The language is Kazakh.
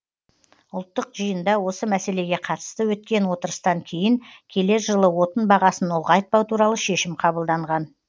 ұлттық жиында осы мәселеге қатысты өткен отырыстан кейін келер жылы отын бағасын ұлғайтпау туралы шешім қабылданған